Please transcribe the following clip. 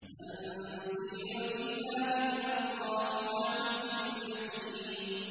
تَنزِيلُ الْكِتَابِ مِنَ اللَّهِ الْعَزِيزِ الْحَكِيمِ